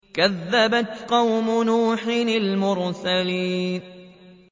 كَذَّبَتْ قَوْمُ نُوحٍ الْمُرْسَلِينَ